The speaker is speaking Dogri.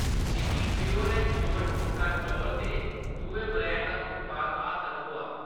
मिगी प्योर ऐंड श्योर टोटा चौल दे दुए ब्रैंड दा उत्पाद हासल होआ।